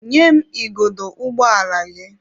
Nye m igodo ụgbọ ala gị!